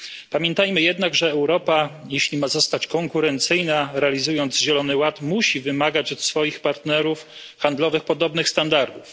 Pamiętajmy jednak, że Europa, jeśli ma zostać konkurencyjna, realizując Zielony Ład, musi wymagać od swoich partnerów handlowych podobnych standardów.